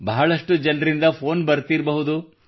ಬಹಳಷ್ಟು ಜನರ ಫೋನ್ ಬರುತ್ತಿರಬಹುದು